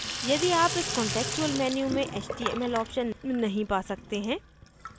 यदि आप इस contextual menu में html option नहीं पा सकते हैं